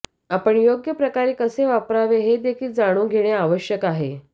आपण योग्य प्रकारे कसे वापरावे हे देखील जाणून घेणे आवश्यक आहे